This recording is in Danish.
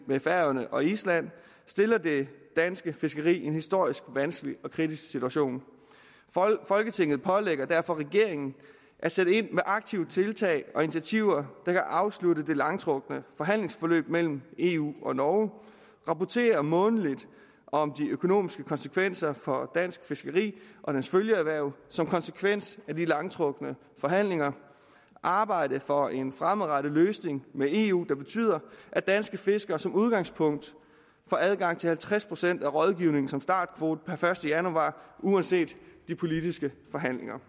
med færøerne og island stiller dansk fiskeri i en historisk vanskelig og kritisk situation folketinget pålægger derfor regeringen at sætte ind med aktive tiltag og initiativer der kan afslutte det langtrukne forhandlingsforløb mellem eu og norge rapportere månedligt om de økonomiske konsekvenser for dansk fiskeri og dets følgeerhverv som konsekvens af de langtrukne forhandlinger og arbejde for en fremadrettet løsning med eu der betyder at danske fiskere som udgangspunkt får adgang til halvtreds procent af rådgivningen som startkvote per første januar uanset de politiske forhandlinger